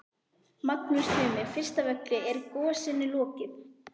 Magnús Tumi, fyrst af öllu, er gosinu lokið?